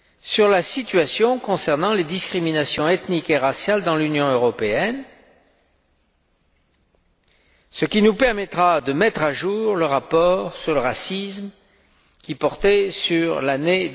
sur la situation concernant les discriminations ethniques et raciales dans l'Union européenne, ce qui nous permettra de mettre à jour le rapport sur le racisme qui portait sur l'année